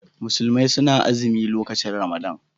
Musulmi suna azimi lokacin Ramadan.